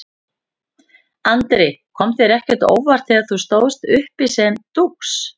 Andri: Kom þér þetta á óvart þegar þú stóðst uppi sem dúx?